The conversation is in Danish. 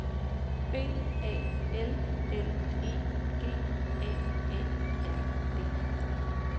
B A L L E G A A R D